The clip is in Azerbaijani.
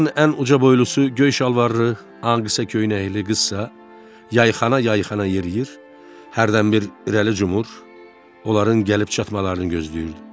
Onlardan ən uca boylusu göy şalvarlı Angissa kəndli qızsa yayxana-yayxana yeriir, hərdən bir irəli cumur, onların gəlib çatmalarını gözləyirdi.